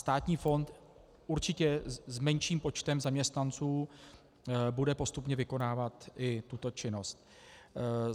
Státní fond určitě s menším počtem zaměstnanců bude postupně vykonávat i tuto činnost.